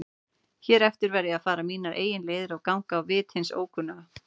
Hér eftir verð ég að fara mínar eigin leiðir og ganga á vit hins ókunna.